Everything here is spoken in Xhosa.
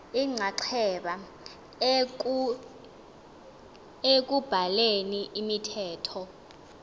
inxaxheba ekubhaleni imithetho